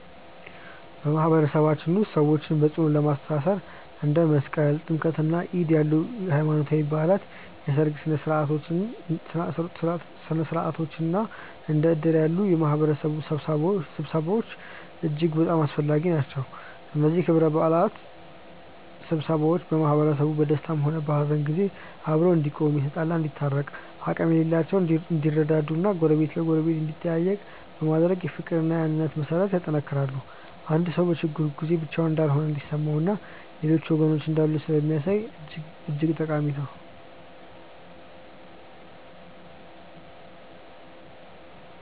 በማህበረሰባችን ውስጥ ሰዎችን በጽኑ ለማስተሳሰር እንደ መስቀል፣ ጥምቀትና ዒድ ያሉ ሃይማኖታዊ በዓላት፣ የሠርግ ሥነ ሥርዓቶች እና እንደ እድር ያሉ የማህበረሰብ ስብሰባዎች እጅግ በጣም አስፈላጊ ናቸው። እነዚህ ክብረ በዓላትና ስብሰባዎች ማህበረሰቡ በደስታም ሆነ በሐዘን ጊዜ አብሮ እንዲቆም፣ የተጣሉ እንዲታረቁ፣ አቅም የሌላቸው እንዲረዱ እና ጎረቤት ለጎረቤት እንዲጠያየቅ በማድረግ የፍቅርና የአንድነት መሠረትን ያጠነክራሉ። አንድ ሰው በችግሩ ጊዜ ብቻውን እንዳልሆነ እንዲሰማውና ሌሎች ወገኖች እንዳሉት ስለሚያሳይ እጅግ ጠቃሚ ናቸው።